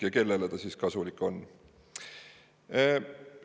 Ja kellele see kasulik on?